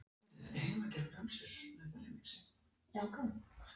Að loknu matarhléi taka Pólverjarnir aftur til við drykkju.